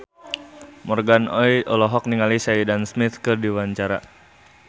Morgan Oey olohok ningali Sheridan Smith keur diwawancara